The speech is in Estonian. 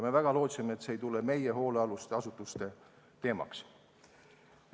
Me väga lootsime, et see ei saa meie hoolealuste asutuste teemaks.